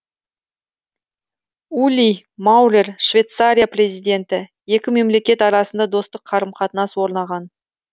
ули маурер швейцария президенті екі мемлекет арасында достық қарым қатынас орнаған